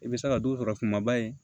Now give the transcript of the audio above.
I bɛ se ka dɔ sɔrɔ kumaba in ye